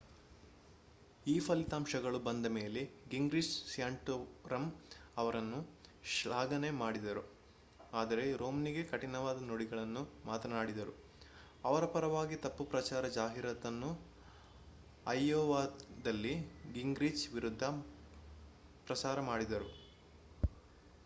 ಈ ಫಲಿತಂಶಗಳು ಬಂದ ಮೇಲೆ ಗಿಂಗ್ರಿಚ್ ಸ್ಯಾಂಟೋರಮ್ ಅವರನ್ನು ಶ್ಲಾಘನೆ ಮಾಡಿದರು ಆದರೆ ರೋಮ್ನಿಗೆ ಕಠಿಣವಾದ ನುಡಿಗಳನ್ನು ಮಾತನಾಡಿದರು ಅವರ ಪರವಾಗಿ ತಪ್ಪು ಪ್ರಚಾರ ಜಾಹಿರಾತುಗಳನ್ನು ಐಯೋವಾದಲ್ಲಿ ಗಿಂಗ್ರಿಚ್ ವಿರುದ್ಧ ಪ್ರಸಾರ ಮಾಡಲಾಯಿತು